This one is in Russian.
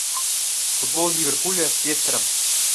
футбол ливерпуля с лестером